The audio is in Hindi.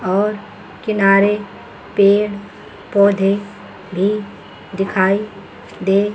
और किनारे पेड़ पौधे भी दिखाई दे--